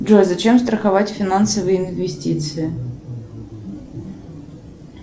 джой зачем страховать финансовые инвестиции